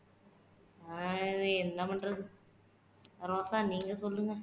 ஹம் என்ன பண்றது ரோசா நீங்க சொல்லுங்க